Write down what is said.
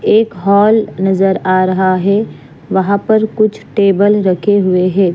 एक हॉल नजर आ रहा है वहां पर कुछ टेबल रखे हुए हैं।